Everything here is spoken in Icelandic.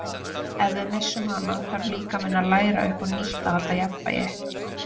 Ef við missum hana þarf líkaminn að læra upp á nýtt að halda jafnvægi.